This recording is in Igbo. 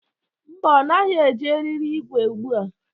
Mba, ọ naghị eji eriri igwe ugbu a.